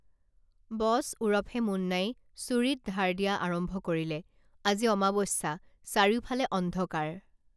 বছ ওৰফে মুন্নাই চুৰিত ধাৰ দিয়া আৰম্ভ কৰিলে আজি অমাৱস্যা চাৰিওফালে অন্ধকাৰ